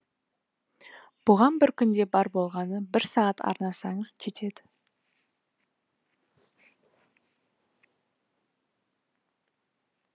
бұған бір күнде бар болғаны бір сағат арнасаңыз жетеді